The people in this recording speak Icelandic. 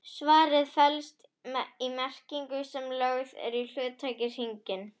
Svarið felst í merkingunni sem lögð er í hugtakið hyrning.